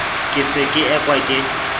ke se ke ekwa ke